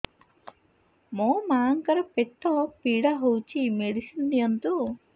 ମୋ ମାଆଙ୍କର ପେଟ ପୀଡା ହଉଛି ମେଡିସିନ ଦିଅନ୍ତୁ